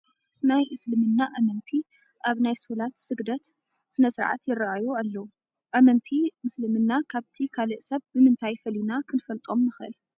ናይ ምስልምና ኣመንቲ ኣብ ናይ ሶላት ስግደት ስነ ስርዓት ይርአዩ ኣለዉ፡፡ ኣመንቲ ምስልምና ካብቲ ካልእ ሰብ ብምንታይ ፈሊና ክንፈልጦም ንኽእል?